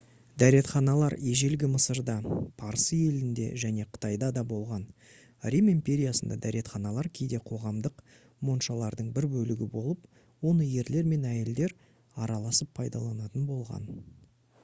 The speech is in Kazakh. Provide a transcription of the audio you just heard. дәретханалар ежелгі мысырда парсы елінде және қытайда да болған рим империясында дәретханалар кейде қоғамдық моншалардың бір бөлігі болып оны ерлер мен әйелдер араласып пайдаланатын болған